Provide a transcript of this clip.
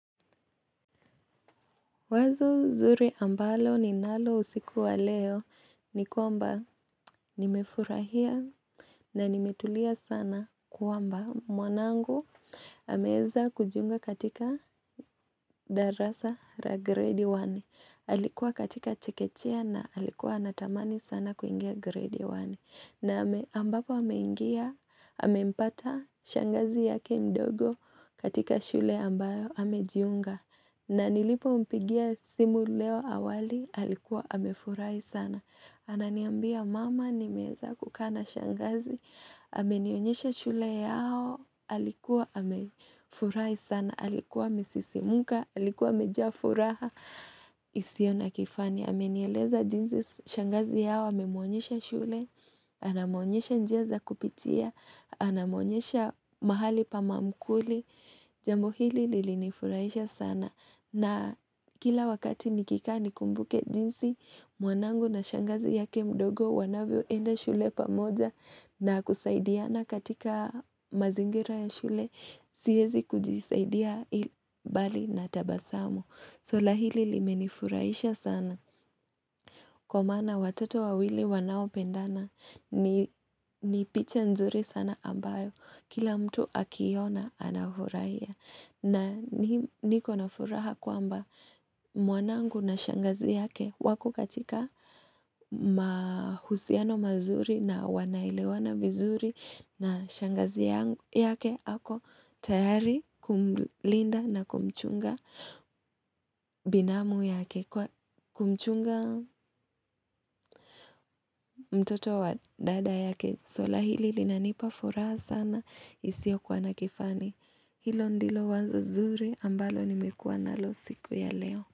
Wazo zuri ambalo ninalo usikuwa leo ni kwamba nimefurahia na nimetulia sana kwamba mwanangu ameeza kujiunga katika darasa la grade 1. Alikuwa katika chekechea na halikuwa anatamani sana kuingia grade 1. Na ambapo hameingia, hamempata shangazi yake mdogo katika shule ambayo hamejiunga. Na nilipo mpigia simu leo awali, halikuwa hamefurahi sana. Ananiambia mama nimeeza kukaa na shangazi, hame nionyesha shule yao, halikuwa hamefurahi sana. Alikuwa amesisimuka, alikuwa amejaa furaha, isiyo na kifani. Amenieleza jinsi, shangazi yao, amemuonyesha shule, anamuonyesha njia za kupitia, anamuonyesha mahali pa ma mkuli, jambo hili lili nifurahisha sana. Na kila wakati nikika nikumbuke jinsi, mwanangu na shangazi yake mdogo wanavyo enda shule pamoja na kusaidiana katika mazingira ya shule. Siezi kujisaidia bali na tabasamu suala hili limenifurahisha sana Kwa maana watoto wawili wanao pendana ni picha nzuri sana ambayo Kila mtu akiona anafurahia na niko nafuraha kwamba mwanangu na shangazi yake Wakokatika mahusiano mazuri na wanaelewana vizuri na shangazi yake ako tayari kumlinda na kumchunga binamu yake kwa kumchunga mtoto wa dada yake suala hili linanipa furaha sana isio kuwa nakifani Hilo ndilo wazo zuri ambalo ni mekuwa nalo siku ya leo.